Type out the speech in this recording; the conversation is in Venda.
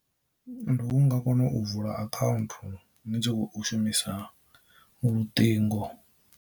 Ndi u nga kona u vula akhaunthu ni tshi khou shumisa luṱingo.